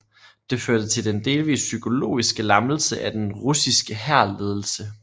Det førte til den delvis psykologiske lammelse af den russiske hærledelse